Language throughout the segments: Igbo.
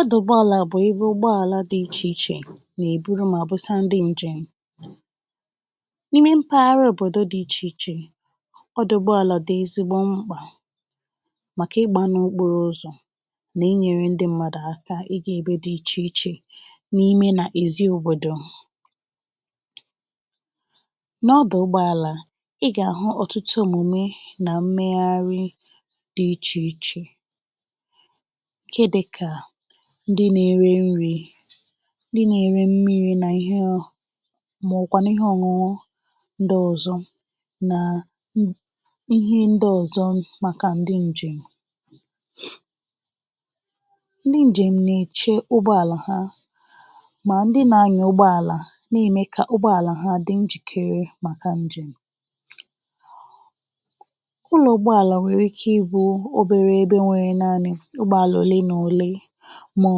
ọdụ̀gbọàlà bụ̀ egburugbo àla dị ichè ichè nà èburu mà busa ndị ǹjẹ̀m n’ime mpaghara òbòdo dị ichè ichè ọdụ̀gbọàlà dị̀ ezigbo mkpà màkà ị gbà n’okporo ụzọ̀ nà ị nyẹ̄rẹ ndị mmadù aka ị gā ẹbẹ dị̄ ichè ichè n’ime nà èzi òbòdò n’ọdụ̀gbọàlà ị gà àhụ ọtụtụ omùme nà mmẹgharị dị̄ ichè ichè ihe dịkà ndị na ere nrị̄ ndị na ẹrẹ mmirī nà ịhẹ ọ mà ọ̀ kwànụ̀ ihẹ ọñuñụ ndị ozọ nàà ihe ndị ọ̀zọ màkà ndị ǹjèm ndị ǹjèm nà èche ugbọàlà ha mà ndị na anyà ugbọ̄àlà nà ème kà ụgbọàlà ha dị njìkere màkà ǹjèm ụlọ̀ ụgbọàlà nwèrè ike ị bụ̄ obere ebe nwèrè naani ụgbọàlà òlee nà òlee mà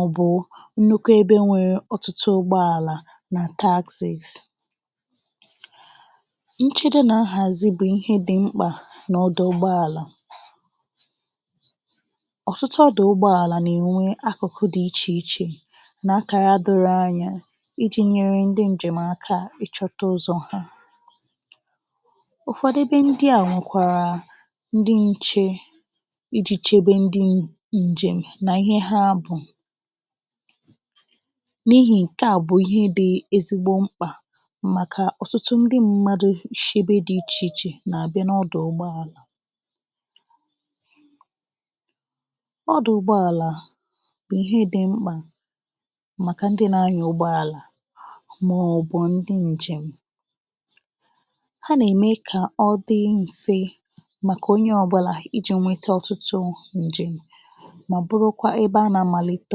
ọ̀ bụ̀ nnukwu ebe nwèrè ọtụtụ ụgbọàlà nà takzìs nchedo nà nhàzi bụ̀ ihe dị mkpà nà ọdụ̀ ụgbọàlà ọ̀tụtụ ọdụ̀ ụgbọàlà nà ènwe akụ̀kụ dị ichè ichè nà akàra doro anya ịjị̄ nyẹrẹ ndị ǹjẹm aka ị chọ̄ta ụzọ̀ ha ụ̀fọdụ bị ndịà bụ̀kwàrà ndị nche ịjị̄ chebe ndị ǹjèm nà ihe ha bù n’ihì ǹkẹ̀ à bụ̀ ihe dị̄ ezigbo mkpà màkà ọ̀tụtụ ndị mmadū shị ebe dị̄ ichè ichè nà àbịa n’ọdụ̀ ụgbọàlà ọdụ̀ ụgbọàlà bụ̀ ihe dị̄ mkpà màkà ndị nà anyà ụgbọàlà mà ọ̀ bụ̀ ndị ǹjèm ha nà ème kà ọ dị mfe màkà onye ọbụlà ịjị̄ nwẹtẹ ọ̀tụtụ ǹjèm mà bụrụkwa ẹbẹ a nà amàlite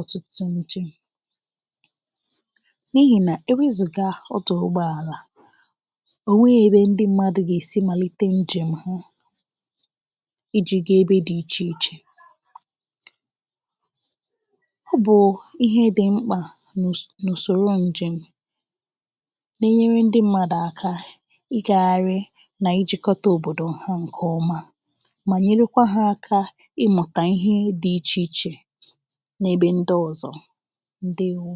ọ̀tụtụ ǹjèm n’ihì nà ewezùga otù ụgbọàlà ò nweghi ebe ndị mmadù gà èsi màlite ǹjèm ha ịjị̀ ga ebe dị ichè ichè ọ bụ̀ụ̀ ihē dị mkpà n’ùs..ùsòro ǹjèm na enyere ndị̇ mmadù aka ị gagharị nà ịjị̀kọ̀ta òbòdo ha ǹkẹ̀ ọma mà nyèlukwā ha aka ịmụ̀tà ihe dị ichè ichè n’ebe ndị ọzọ ǹdèwo